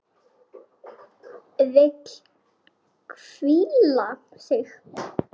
Vill hvíla sig.